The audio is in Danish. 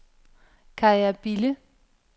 Kaja Bille